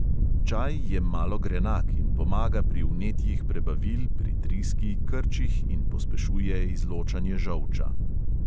Čaj je malo grenak in pomaga pri vnetjih prebavil, pri driski, krčih in pospešuje izločanje žolča.